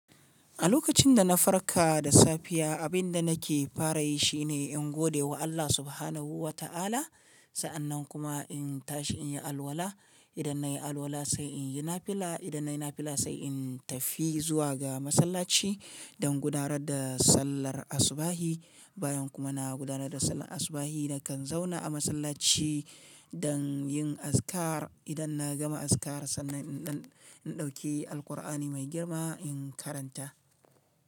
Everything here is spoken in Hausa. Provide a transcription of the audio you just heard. A lokacin da na farka da safiya, abin da nake fara yi shi ne in gode wa Allah Subhanahu wa Ta'ala. Sa'annan kuma in tashi in yi alwala. Idan nayi alwala sai in yi nafila. Idan nayi nafila sai in tafi zuwa ga masallaci don gudanar da sallar asubahi. Bayan kuma na gudanar da sallar asubahi, na kan zauna a masallaci don yin azikar. Idan na gama azikar sannan in ɗauki Alkur'ani mai girma in karanta.